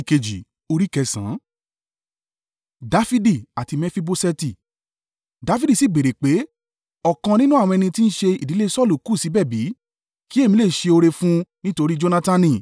Dafidi sì béèrè pé, ọ̀kan nínú àwọn ẹni tí ń ṣe ìdílé Saulu kù síbẹ̀ bí? Kí èmi lè ṣe oore fún un nítorí Jonatani.